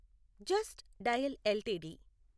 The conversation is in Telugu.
just Dial LTD